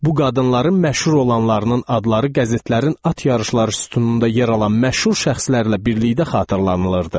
Bu qadınların məşhur olanlarının adları qəzetlərin at yarışları sütununda yer alan məşhur şəxslərlə birlikdə xatırlanılırdı.